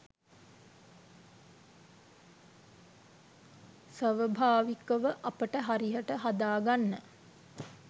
සවභාවිකව අපව හරියට හදාගන්න.